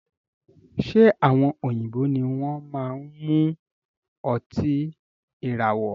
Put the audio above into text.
Ṣe àwọn òyìnbó ní wọn máa n mú ọtí ìràwọ̀?